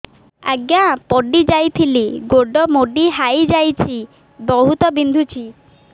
ଆଜ୍ଞା ପଡିଯାଇଥିଲି ଗୋଡ଼ ମୋଡ଼ି ହାଇଯାଇଛି ବହୁତ ବିନ୍ଧୁଛି